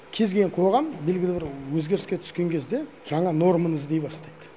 кез келген қоғам белгілі бір өзгеріске түскен кезде жаңа норманы іздей бастайды